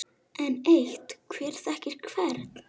Enn eitt: Hver þekkir hvern?